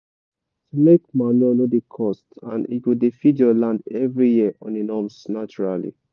to make manure no dey cost and e go dey feed your land every year on a norms naturally.